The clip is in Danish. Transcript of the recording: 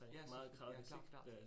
Ja, selvfølgelig, ja klart klart